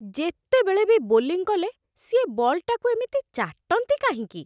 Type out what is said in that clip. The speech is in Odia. ଯେତେବେଳେ ବି ବୋଲିଂ କଲେ, ସିଏ ବଲ୍‌ଟାକୁ ଏମିତି ଚାଟନ୍ତି କାହିଁକି ?